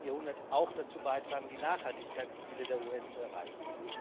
21. Jahrhundert auch dazu beitragen, die Nachhaltigkeitsziele der UN zu erreichen.